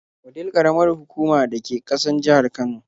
Wudil ƙaramar hukuma da ke ƙasan jihar Kano.